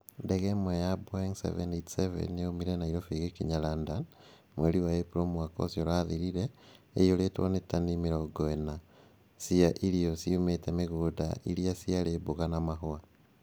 Ndege ĩmwe, ya Boeing 787 Dreamliner, yoimire Nairobi ĩgĩkinya London. Mweri wa Ĩpuro mwaka ũcio ũrathirire ĩiyũrĩtwo nĩ tani mĩrongo ĩna . Ciar ciaĩ irio ciumĩte mĩgũnda iria ciarĩ mboga na mahũa.